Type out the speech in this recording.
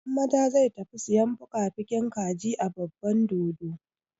Hammada zai tafi sayan fukafukin kaji a babban dodo.